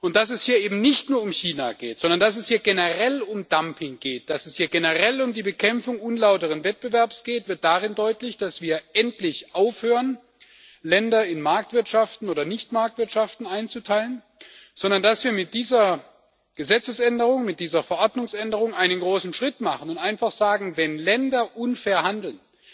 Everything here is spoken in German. Dass es hier eben nicht nur um China geht, sondern dass es hier generell um Dumping geht, dass es hier generell um die Bekämpfung unlauteren Wettbewerbs geht, wird darin deutlich, dass wir endlich aufhören, Länder in Marktwirtschaften oder Nichtmarktwirtschaften einzuteilen, sondern dass wir mit dieser Gesetzesänderung, mit dieser Verordnungsänderung einen großen Schritt machen und einfach sagen Wenn Länder unfair handeln,